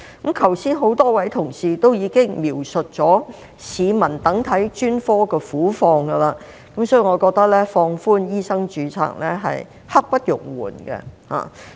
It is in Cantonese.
剛才已有多位同事描述市民等候向專科求診的苦況，所以我覺得放寬醫生註冊刻不容緩。